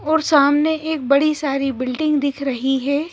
और सामने एक बड़ी सारी बिल्डिंग दिख रही है।